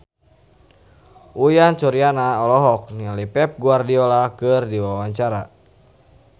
Uyan Suryana olohok ningali Pep Guardiola keur diwawancara